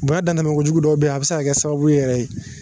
Bonya dantɛmɛkojugu dɔw bɛyi a bi se ka kɛ sababu yɛrɛ ye.